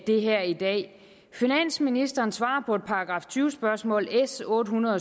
det her i dag finansministeren svarer på et § tyve spørgsmål s otte hundrede